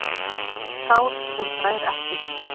Sár sem grær ekki